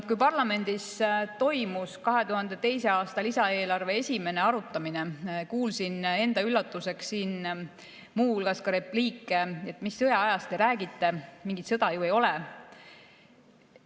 Kui parlamendis toimus 202. aasta lisaeelarve esimene arutamine, kuulsin enda üllatuseks siin muu hulgas repliike, et mis sõjaajast te räägite, mingit sõda ju ei ole.